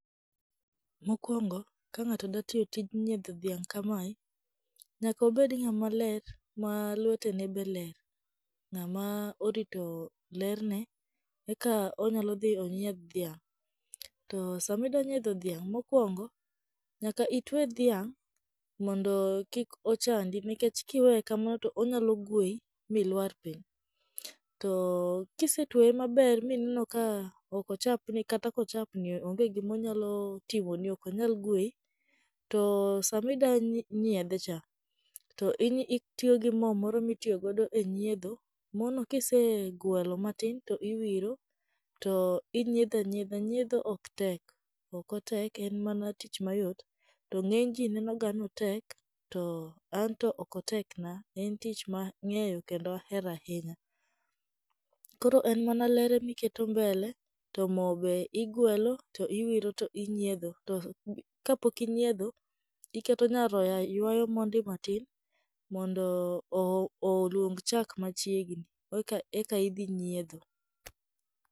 Mokuongo, ka ng'ato da tiyo tij nyiedho dhiang' kamae, nyaka obed ng'ama ler ma lwetene be ler. Ng'ama orito lerne eka onyalo dhi onyiedh dhiang'. To sama ida nyiedho dhiang' mokuongo, nyaka itwe dhiang' mondo kik ochandi nikech kiweye kamano to onyalo gwei milwar piny. To kise tweye maber ma ineno ka ok ochapni kata ka ochapni onge gima onyalo timoni, ok onyal gwei, to sama id ida nyiedhe cha to inyi itiyo gi mo moro mitiyogo e nyiedho. Mono kisegwelo matin, to iwiro to inyiedho yiedha. Nyiedho ok tek, ok otek en mana tich mayot, to ng'eny ji neno ga otek to anto ok otekna en tich mang'eyo kendo ahero ahinya. Koro en mana ler emiketo mbele, to mo be igwelo to iwiro to inyiedho to. To bo kapok inyiedho, iketo nyaroya ywayo monde matin mondo o oluong chak machiegni eka idhi nyiedho.